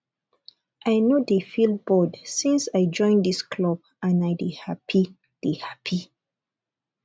i no dey feel bored since i join dis club and i dey happy dey happy